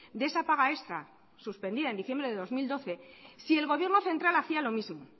de esa paga extra suspendida en diciembre de dos mil doce si el gobierno central hacía lo mismo